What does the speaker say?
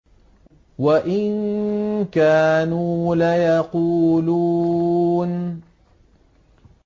وَإِن كَانُوا لَيَقُولُونَ